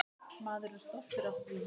Maður er stoltur af því.